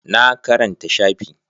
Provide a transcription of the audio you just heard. Na karanta shafi